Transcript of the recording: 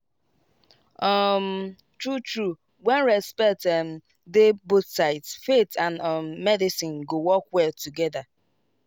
um true true when respect um dey both sides faith and um medicine go work well together.